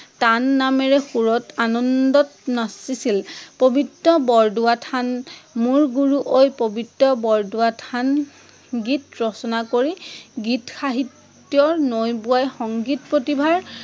টান নামেৰে সুৰত আনন্দত নাচিছিল। প্ৰৱিত্ৰ বৰদোৱা থান, মুল গুৰু, প্ৰবিত্ৰ বৰদোৱা থান, গীত ৰচনা কৰি গীত সাহিত্যৰ নৈ বোৱাই সংগীত প্ৰতিভাৰ